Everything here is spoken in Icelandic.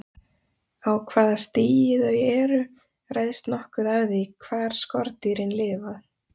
Á hvaða stigi þau eru ræðst nokkuð af því hvar skordýrin lifa.